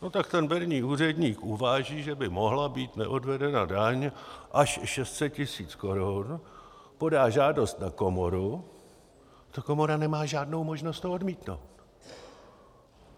No tak ten berní úředník uváží, že by mohla být neodvedena daň až 600 tisíc korun, podá žádost na komoru, ta komora nemá žádnou možnost to odmítnout.